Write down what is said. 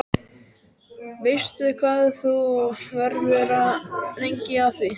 Veistu hvað þú verður lengi að því?